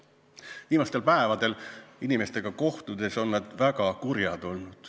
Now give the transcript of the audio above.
Viimastel päevadel, kui olen inimestega kohtunud, on nad olnud väga kurjad.